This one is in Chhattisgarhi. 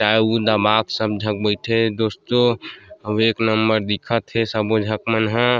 ताईऊ दमाक सबी झक बइठे हे दोस्तों एक नंबर दिखत हे सबो झक मन ह --